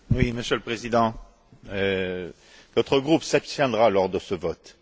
Monsieur le Président, notre groupe s'abstiendra lors de ce vote.